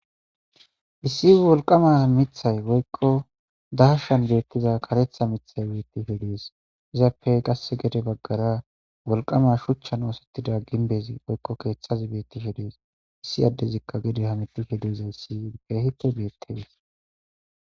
Issi woliqama mithay oykko daashan beettiza karetha mithay beetti hedees izappe qasse gede baggara wolqama shuchchan oosettida ginbezi oykko keeththazi beetti hedees issi addezikka gedi hameti hedeza issi beehito beettes